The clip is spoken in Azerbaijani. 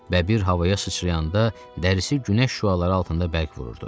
Bəbir havaya sıçrayanda dərisi günəş şüaları altında bərk vururdu.